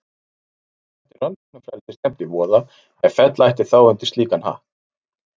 Nú þætti rannsóknarfrelsi stefnt í voða ef fella ætti þá undir slíkan hatt.